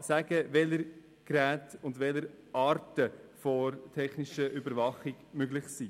sagen kann, welche Arten von technischer Überwachung möglich sind.